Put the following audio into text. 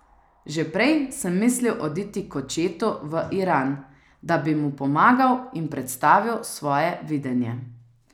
Že prej sem mislil oditi k očetu v Iran, da bi mu pomagal in predstavil svoje videnje.